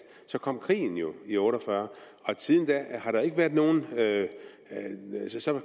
så kom krigen jo i nitten otte og fyrre og siden da